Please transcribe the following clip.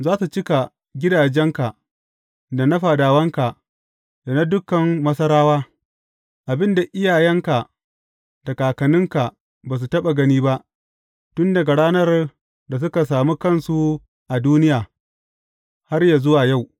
Za su cika gidajenka, da na fadawanka, da na dukan Masarawa, abin da iyayenka da kakanninka ba su taɓa gani ba, tun daga ranar da suka sami kansu a duniya, har yă zuwa yau.’